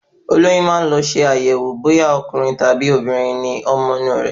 Olóyún maá lọ ṣe àyẹ̀wò bóyá Ọkùnrin àbí obìnrin ni ọmọ inu re